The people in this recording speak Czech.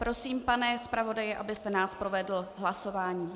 Prosím, pane zpravodaji, abyste nás provedl hlasováním.